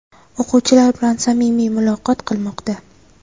o‘quvchilar bilan samimiy muloqot qilmoqda.